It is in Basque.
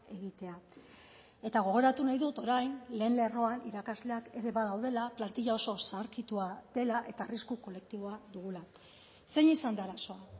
egitea eta gogoratu nahi dut orain lehen lerroan irakasleak ere badaudela plantilla oso zaharkitua dela eta arrisku kolektiboa dugula zein izan da arazoa